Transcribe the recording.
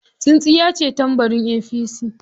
Tsintsiyace tambarin APC.